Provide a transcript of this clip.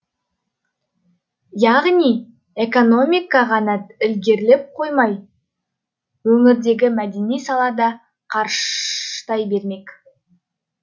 яғни экономика ғана ілгерілеп қоймай өңірдегі мәдени сала да қарыштай бермек